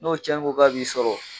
N'o tiɲɛni ko k'a b'i sɔrɔ